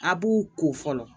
A b'u ko fɔlɔ